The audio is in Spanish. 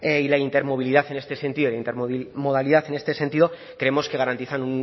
y la intermovilidad en este sentido de intermodalidad en este sentido creemos que garantizan